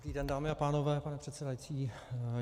Dobrý den dámy a pánové, pane předsedající.